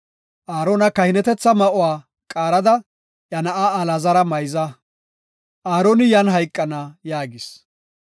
Aarona kahinetetha ma7uwa qaarada, iya na7aa Alaazara mayza. Aaroni yan hayqana” yaagis.